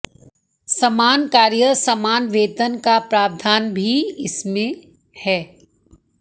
समान कार्य समान वेतन का प्रावधान भी इसमें है